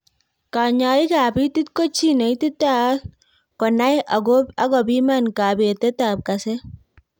Kanyaik ab itiit ko chiii ne ititaat ko nay agopiman kabetet ab kaset